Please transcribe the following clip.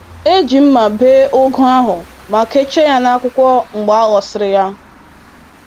E ji mma bee ugu ahụ ma kechie ya na akwụkwọ mgbe a ghọsịrị ya.